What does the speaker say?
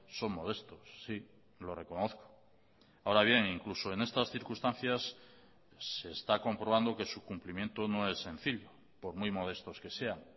son modestos sí lo reconozco ahora bien incluso en estas circunstancias se está comprobando que su cumplimiento no es sencillo por muy modestos que sean